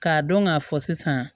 K'a dɔn k'a fɔ sisan